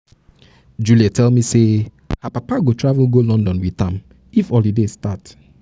juliet tell me say her papa go travel go london with am if holiday start